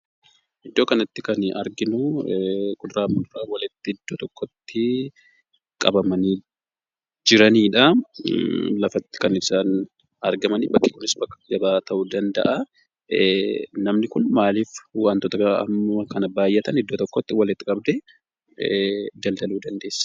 Iddoo kanatti kan arginu kuduraa fi muduraan iddoo tokkotti walitti qabamanii jiraniidha. Lafatti kan isaan argaman bakki kunis bakka gabaa ta'uu danda'a. Namni kun maaliif wantoota hamma kana baay'atan iddoo tokkotti walitti qabdee daldaluu dandeessee?